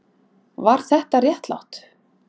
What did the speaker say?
Var þetta réttlátt?